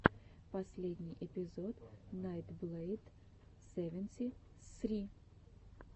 последний эпизод найтблэйд севенти ссри